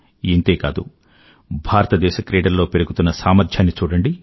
ఇంతే కాదు భారతదేశ క్రీడల్లో పెరుగుతున్న సామర్ధ్యాన్ని చూడండి